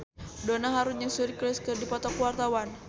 Donna Harun jeung Suri Cruise keur dipoto ku wartawan